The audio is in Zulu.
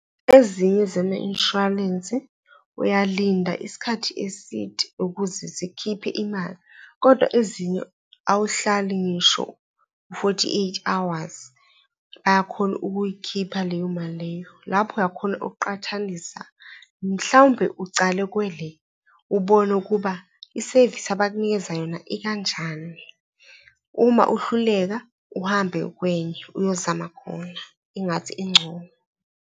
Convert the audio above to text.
Ezinye zama-inshwalensi uyalinda isikhathi eside ukuze zikhiphe imali kodwa ezinye awuhlali ngisho u-forty eight hours, bayakhona ukuyikhipha leyo mali leyo. Lapho oyakhona ukuqhathanisa mhlawumbe ucale kwele ubone ukuba isevisi abakunikeza yona ikanjani. Uma uhluleka uhambe kwenye uyozama khona, ingathi ingcono.